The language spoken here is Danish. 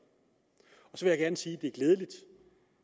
så vil jeg gerne sige at det er glædeligt